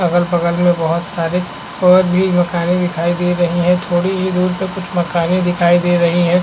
अगल - बगल में बहुत सारे और भी मकानें दिखाई दे रहै हैं थोड़ी ही दूर पे कुछ मकाने दिखाई दे रही है।